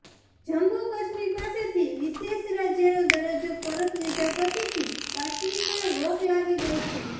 જમ્મુ કાશ્મીર પાસેથી વિશેષ રાજયનો દરજ્જો પરત લીધા પછીથી કાશ્મીરમાં રોક લાગી ગઈ છે